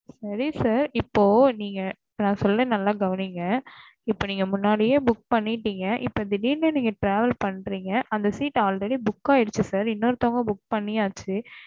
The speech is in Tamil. சரி sir இப்போ நீங்க நான் சொல்லுறேன் நல்லா கவனிங்க இப்போ நீங்க முன்னாடியே புக் பண்ணிட்டேங்க இப்ப நீங்க திடீர்ன்னு travel பன்னுறேங்க அந்த seatalready book ஆயிடுச்சு sir இன்னொருத்தவங்க book ஆயாச்சு